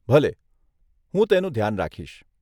ભલે, હું તેનું ધ્યાન રાખીશ.